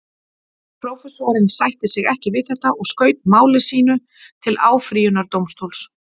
Prófessorinn sætti sig ekki við þetta og skaut máli sínu til áfrýjunardómstóls.